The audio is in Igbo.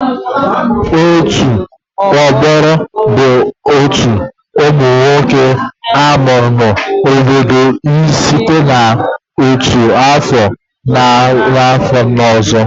Otu ọgbọ bụ otu umunwoke amụrụ n'obodo site na otu afọ ruo na afọ ọzọ.